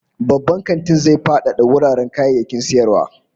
Babban kantin zai fadada wuraren kayayyakin sayarwa